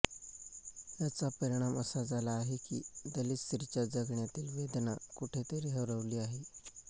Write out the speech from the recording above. याचा परिणाम असा झाला आहे की दलित स्त्रीच्या जगण्यातील वेदना कुठे तरी हरवली आहे